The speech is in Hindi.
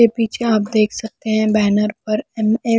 ये पीछे आप देख सकते हैं बैनर पर एम_ए --